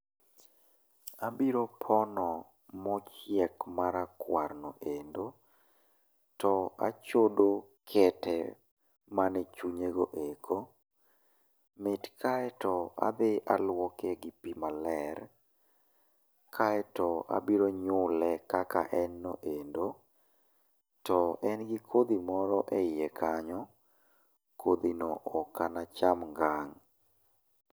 Abiro pono mochiek marakuar no kendo, to achodo kete mane e chunye go eko, mit kae to adhi aluoke gi pi maler, kae to abiro nyule kaka en no endo, to en gi kodhi moro e ie kanyo. Kodhino ok na acham ngang'.